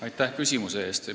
Aitäh küsimuse eest!